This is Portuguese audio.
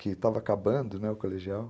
Que estava acabando, né, o colegial.